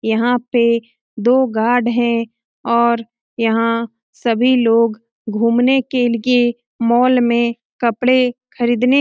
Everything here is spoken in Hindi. यहाँ पे दो गार्ड हैं और यहाँ सभी लोग घूमने के के मॉल में कपड़े खरीदने --